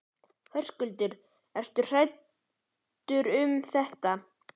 Höskuldur: Þú ert ekkert hræddur við þetta?